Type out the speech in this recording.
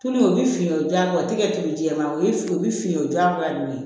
Tulu o bɛ finen o jaabi o tɛ kɛ tulu ye jɛman o ye o bɛ fin'u ma bilen